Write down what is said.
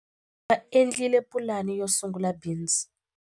Va endlile pulani yo sungula bindzu.